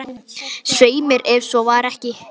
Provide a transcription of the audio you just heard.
Svei mér, ef svo var ekki.